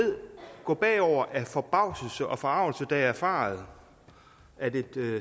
gå bagover af forbavselse og forargelse da jeg erfarede at et